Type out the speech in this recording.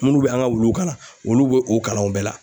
Munnu be an ŋa wuluw kalan olu be o kalan o bɛɛ la.